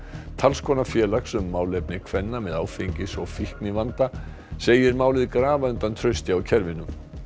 talskona félags um málefni kvenna með áfengis og fíknivanda segir málið grafa undan trausti á kerfinu